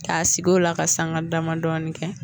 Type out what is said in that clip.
K'a sigi o la ka sanga dama dɔɔni kɛ.